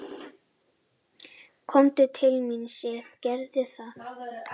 """Komdu til mín, Sif, gerðu það."""